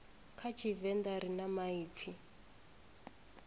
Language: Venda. kha tshivenḓa ri na maipfi